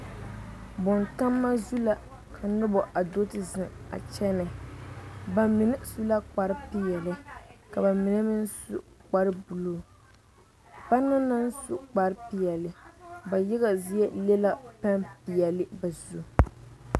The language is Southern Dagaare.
Bontama zu la ka noba do zeŋ a kyɛne bamine su la kpare peɛle ka bamine meŋ su kpare buluu banaŋ naŋ su kpare peɛle ba yaga zie le la peŋ peɛle ba zu.